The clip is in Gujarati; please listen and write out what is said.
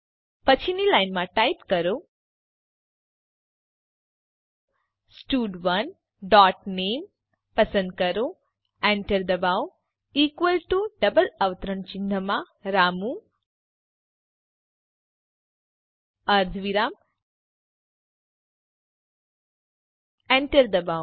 પછીની લાઈનમાં ટાઈપ કરો સ્ટડ1 ડોટ નામે પસંદ કરો enter દબાવો ઇકવલ ટુ ડબલ અવતરણ ચિહ્નમાં રામુ અર્ધવિરામ enter દબાવો